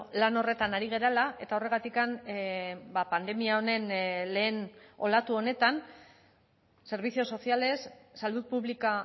lan horretan ari garela eta horregatik pandemia honen lehen olatu honetan servicios sociales salud pública